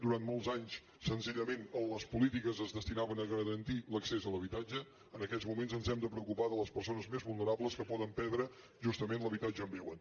durant molts anys senzillament les polítiques es destinaven a garantir l’accés a l’habitatge en aquests moments ens hem de preocupar de les persones més vulnerables que poden perdre justament l’habitatge on viuen